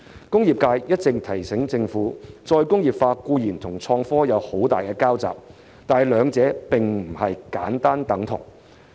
工業界一直提醒政府，再工業化固然與創科有很大的交集，但兩者並非簡單等同。